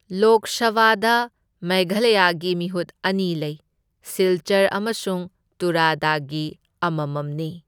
ꯂꯣꯛ ꯁꯚꯥꯗ ꯃꯦꯘꯥꯂꯌꯥꯒꯤ ꯃꯤꯍꯨꯠ ꯑꯅꯤ ꯂꯩ, ꯁꯤꯜꯆꯔ ꯑꯃꯁꯨꯡ ꯇꯨꯔꯥꯗꯒꯤ ꯑꯃꯃꯝꯅꯤ꯫